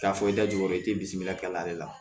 K'a fɔ i da jugu i te bimilakɛ de la